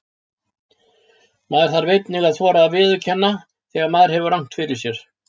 Maður þarf einnig að þora að viðurkenna þegar maður hefur rangt fyrir sér.